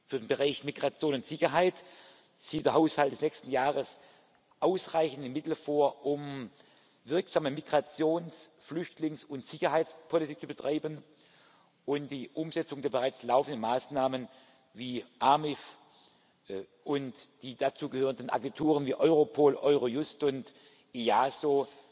Für den Bereich Migration und Sicherheit sieht der Haushalt des nächsten Jahres ausreichende Mittel vor, um wirksame Migrations Flüchtlings und Sicherheitspolitik zu betreiben und die Umsetzung der bereits laufenden Maßnahmen wie des AMIF und die dazugehörenden Agenturen wie Europol, Eurojust und das EASO